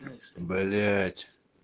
блять